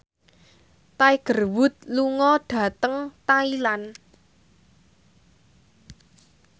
Tiger Wood lunga dhateng Thailand